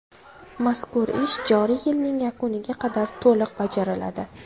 Mazkur ish joriy yilning yakuniga qadar to‘liq bajariladi.